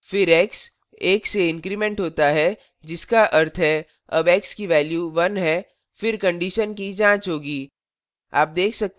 फिर x 1 से increment होता है जिसका अर्थ है अब x की value 1 है फिर condition की जाँच होगी